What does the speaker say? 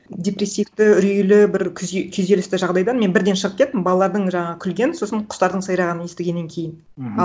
депрессивті үрейлі бір күйзелісті жағдайдан мен бірден шығып кеттім балалардың жаңағы күлген сосын құстардың сайрағанын естігеннен кейін мхм